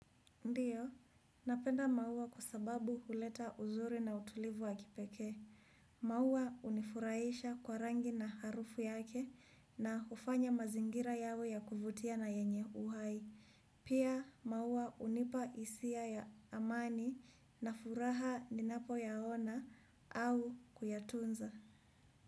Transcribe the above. Ndiyo, napenda maua kwa sababu huleta uzuri na utulivu wa kipekee. Maua hunifurahisha kwa rangi na harufu yake na hufanya mazingira yawe ya kuvutia na yenye uhai. Pia, maua hunipa hisia ya amani na furaha ninapoyaona au kuyatunza.